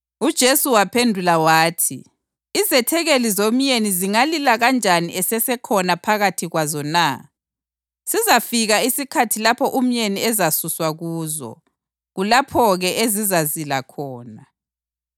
UJesu waphendula wathi, “Izethekeli zomyeni zingalila kanjani esesekhona phakathi kwazo na? Sizafika isikhathi lapho umyeni ezasuswa kuzo; kulapho-ke ezizazila khona.